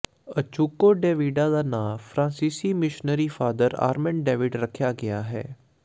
ਅਚੁੱਕੋ Davidia ਦਾ ਨਾਂ ਫਰਾਂਸੀਸੀ ਮਿਸ਼ਨਰੀ ਫਾਦਰ ਆਰਮੈਂਡ ਡੇਵਿਡ ਰੱਖਿਆ ਗਿਆ ਹੈ